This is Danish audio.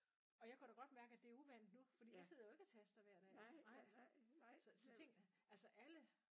Og jeg kan da godt mærke at det er uvant nu fordi jeg sidder jo ikke og taster hver dag nej så så ting altså alle